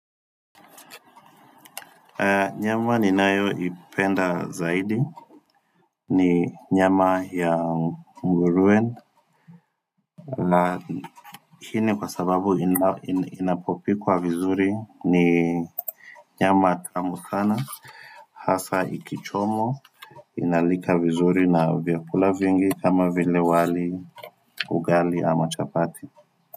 Nyama ninayoipenda zaidi ni nyama ya ngurue la hini kwa sababu inapopikwa vizuri ni nyama tamu sana hasa ikichomwa inalika vizuri na vyakula vingi kama vile wali ugali ama chapati.